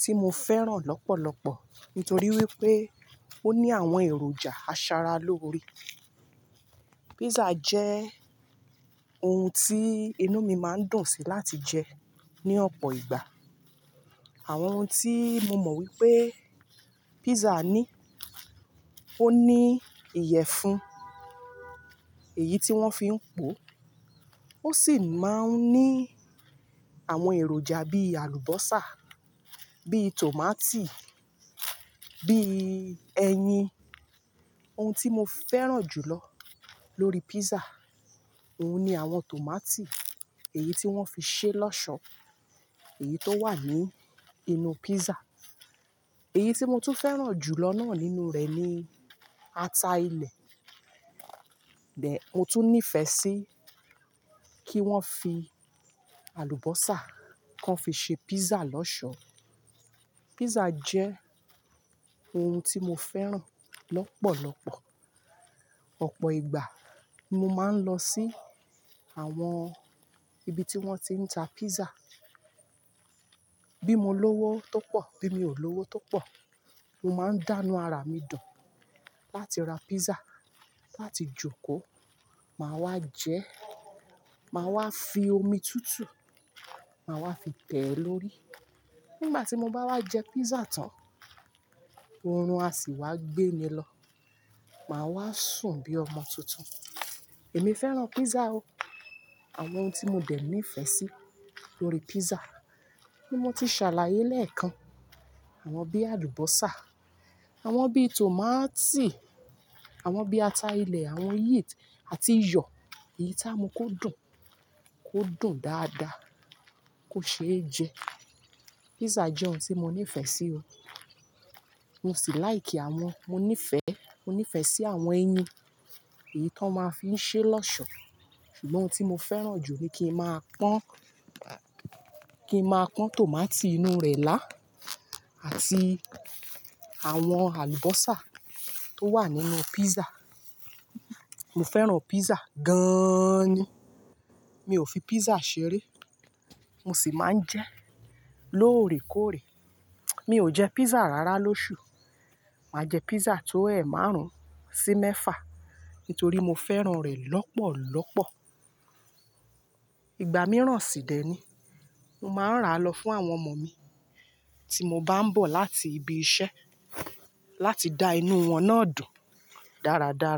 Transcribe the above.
tí mo fẹ́ràn lọ́pọ̀lọpọ̀ nítorí wípé ó ní àwọn èròjà asara lóore. Pizza jẹ́ oun tí inú mi máa ń dùn sí láti jẹ ní ọ̀pọ̀ ìgbà. Àwọn oun tí mo mọ̀ wípé pizza ní, ó ní ìyẹ̀fun, èyí tí wón fi ń po, ó sì máa ń ní àwọn èròjà bí alubosa, bí tòmátì, bí ẹyin. Ohun tí mo fẹ́ràn jùlọ lórí pizza, oun ni àwọn tòmátì, èyí tí wón fi ṣe lọ́ṣọ̀ọ́, èyí tó wà ní inú pizza. Èyí tí mo tún fẹ́ràn jùlọ náà nínú rẹ̀ ni ata ilẹ̀. Bẹ́ẹ̀, mo tún nífẹ̀ẹ́ sí kí wọ́n fi àlùbọ́sà kan fi ṣe pizza lọ́ṣọ̀ọ́. Pizza jẹ́ oun tí mo fẹ́ràn lọ́pọ̀lọpọ̀. Ọ̀pọ̀ ìgbà mo máa ń lọ sí àwọn ibi tí wón ti ń ta pizza. Bí mo lówó tó pọ̀, bí mi ò lówó tó pọ̀, mo máa ń dànù ara mi dùn láti ra pizza láti jókòó. Máa wá jẹ́, máa wá fi omi tútù, máa wá fi tẹ̀ ẹ́ lórí. Nígbà tí mo bá wá jẹ pizza tán, oorun a sì wá gbé mi lọ. Máa wá sùn bí ọmọ tuntun. Èmi fẹ́ràn pizza o. Àwọn oun tí mo dẹ̀ nífẹ̀ẹ́ sí lórí pizza bí mo ti ṣàlàyé lẹ́ẹ̀kan, àwọn bí alubosa, àwọn bí tòmátì, àwọn bí ata ilẹ̀, àwọn yeast àti iyọ̀, èyí tí a mú kó dùn, kó dùn dáadáa, kó ṣe é jẹ. Pizza jẹ́ oun tí mo nífẹ̀ẹ́ sí o. Mo sì like àwọn-- mo nífẹ̀ẹ́, mo nífẹ̀ẹ́ sí àwọn ẹyin èyí tó máa ń fi ṣe lọ́ṣọ̀ọ́. Ṣùgbọ́n oun tí mo fẹ́ràn jù ni kí ń máa pọ́n, kí ń máa pọ́n tòmátì inú rẹ̀ lá àti àwọn àlùbọ́sà tó wà nínú pizza. Mo fẹ́ràn pizza gan-an ni. Mi ò fi pizza ṣeré, mo sì máa ń jẹ ẹ́ lóòrèkóòrè. Mi ò jẹ pizza rárá lóṣù, màá jẹ pizza tó ẹ̀ márùn-ún sí mẹ́fà nítorí mo fẹ́ràn rẹ̀ lọ́pọ̀lọpọ̀. Ìgbà mìíràn sì dẹ̀ ni, mo máa ń rà á lọ fún àwọn ọmọ mi tí mo bá ń bọ̀ láti ibi iṣẹ́ láti dá inú wọn náà dùn dáradára.